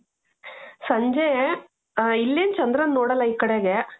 ಸಂಜೆ ಇಲ್ಲಿ ಚಂದ್ರನ್ನ ನೋಡಲ್ಲ ಈಕಡೆಗೆ.